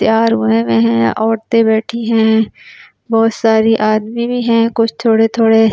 तैयार हुए हुए हैं औरतें बैठी हैं बहुत सारी आदमी भी हैं कुछ थोड़े-थोड़े --